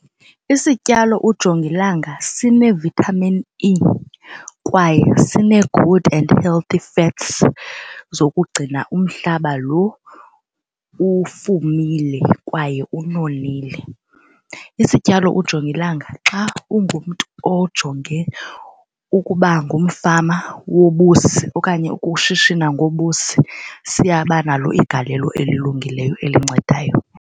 Isityalo ujongilanga sine-vitamin E kwaye sine-good and healthy fats zokugcina umhlaba lo ufumile kwaye unonile. Isityalo ujongilanga xa ungumntu ojonge ukuba ngumfama wobusi okanye ukushishina ngobusi siyabanalo igalelo elilungileyo elincedayo.